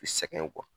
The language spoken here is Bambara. U sɛgɛn